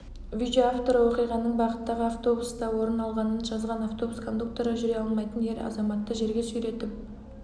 видео авторы оқиғаның бағыттағы автобуста орын алғанын жазған автобус кондукторы жүре алмайтын ер азаматты жерге сүйретіп